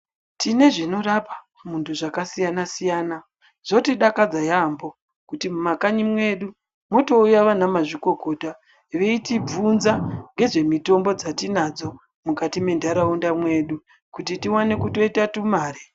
Tine zvinorapa muntu zvakasiyana-siyana, zvotidakadza yaambo kuti mumakanyi mwedu motouya vana mazvikokota veitibvunza ngezvemitombo dzatinadzo, mukati mwenharaunda mwedu kuti tivane kutoita tumare.